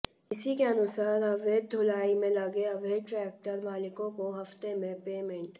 इसी के अनुसार अवैध ढ़ुलाई में लगे अवैध ट्रैक्टर मालिकों को हफ्ते में पेमेंट